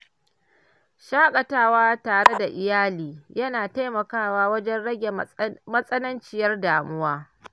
Shaƙatawa tare da iyali yana taimakawa wajen rage matsananciyar damuwa.